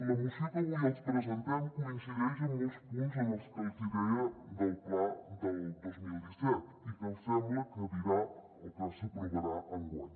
la moció que avui els presentem coincideix en molts punts amb el que els hi deia del pla del dos mil disset i que sembla que dirà o que s’aprovarà enguany